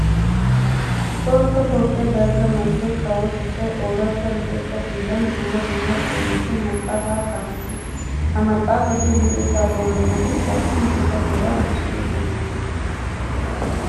Tohossa toophphiya dalgga manttiya kawotettay ooratta luxettaa hiillan dumma dumma doonatun maxaafaa xaafissiis. Ha maxaafati luxettaa boolumatettaassi gita beeraa bessoosona.